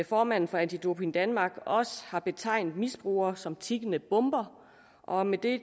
formanden for anti doping danmark også har betegnet misbrugere som tikkende bomber og med det